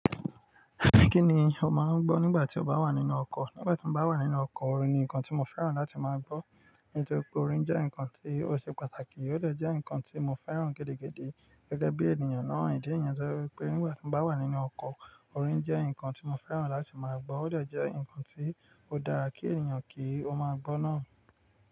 Kí ni o máa ń gbọ́ nígbà tí o bá wà nínú ọkọ̀? Nígbà tí mo bá wà nínú ọkọ̀, orin ni nǹkan tí mo fẹ́ràn láti máa gbọ́. Nítorí pé orin jẹ́ nǹkan tí ó ṣe pàtàkì, ó dè jẹ́ nǹkan tí mo fẹ́ràn gẹ́dégẹ́dẹ́ gẹ́gẹ́ bí ènìyàn náà. Ìdí niyen to jẹ́ wípé nígbà tí mo bá wà nínú ọkọ̀, orin jẹ́ nǹkan tí mo fẹ́ràn láti máa gbọ́. Ó dè jẹ́ nǹkan tí ó dára kí ènìyàn kí ó máa gbọ́ náà.